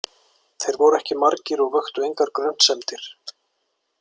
Þeir voru ekki margir og vöktu engar grunsemdir.